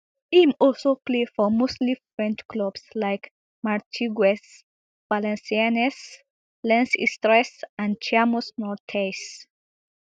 im also play for mostly french clubs like martigues valenciennes lens istres and chamois niortais